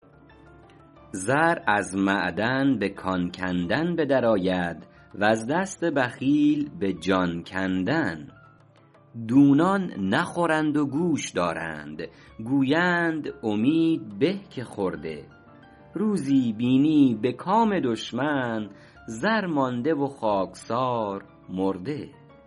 زر از معدن به کان کندن به در آید وز دست بخیل به جان کندن دونان نخورند و گوش دارند گویند امید به که خورده روزی بینی به کام دشمن زر مانده و خاکسار مرده